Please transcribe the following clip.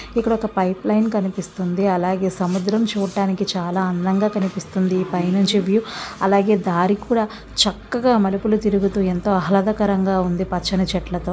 ఇక్కడ ఒక pipeline కనిపిస్తుంది. అలాగే సముద్రం చూడ్డానికి చాలా అందంగా కనిపిస్తుంది. పైనుంచి వ్యూ అలాగే దారి కూడా చక్కగా మలుపులు తిరుగుతూ ఎంతో ఆహ్లాదకరంగా ఉంది. పచ్చని చెట్లతో.